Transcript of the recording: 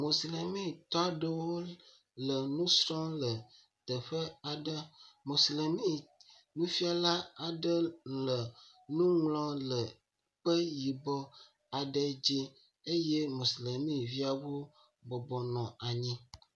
Moslemitɔ ɖeewo le nusrɔ̃m le teƒe aɖe. moslemi nufiala aɖe le nuŋlɔm le kpe yibɔ aɖe dzi eye moslemiviawo bɔbɔbnɔ anyi.